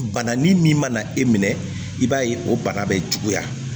Bana ni min mana e minɛ i b'a ye o bana bɛ juguya